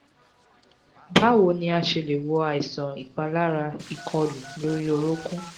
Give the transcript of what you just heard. báwo ni a ṣe lè wo àìsàn ipalara ikọlu lori orunkun?